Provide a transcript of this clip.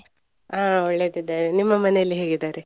ಹಾ ಒಳ್ಳೆದಿದ್ದಾರೆ. ನಿಮ್ಮ ಮನೆಯಲ್ಲಿ ಹೇಗಿದ್ದಾರೆ?